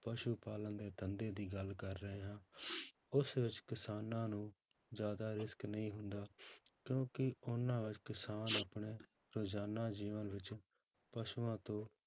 ਪਸੂ ਪਾਲਣ ਦੇ ਧੰਦੇ ਦੀ ਗੱਲ ਕਰ ਰਹੇ ਹਾਂ ਉਸ ਵਿੱਚ ਕਿਸਾਨਾਂ ਨੂੰ ਜ਼ਿਆਦਾ ਰਿਸਕ ਨਹੀਂ ਹੁੰਦਾ, ਕਿਉਂਕਿ ਉਹਨਾਂ ਵਿੱਚ ਕਿਸਾਨ ਆਪਣੇ ਰੁਜ਼ਾਨਾ ਜੀਵਨ ਵਿੱਚ ਪਸੂਆਂ ਤੋਂ